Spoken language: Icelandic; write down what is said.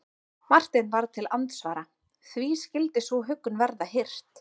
Marteinn varð til andsvara:-Því skyldi sú huggun verða hirt?